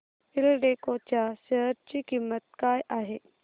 एल्डेको च्या शेअर ची किंमत काय आहे